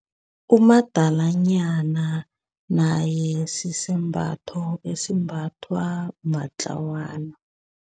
Umadalanyana naye sisembatho esimbathwa matlawana.